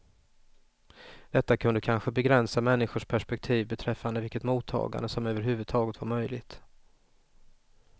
Detta kunde kanske begränsa människors perspektiv beträffande vilket mottagande som överhuvudtaget var möjligt.